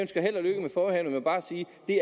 det